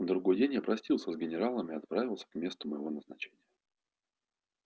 другой день я простился с генералом и отправился к месту моего назначения